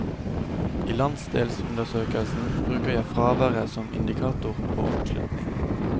I landsdelsundersøkelsen bruker jeg fraværet som indikator på oppslutning.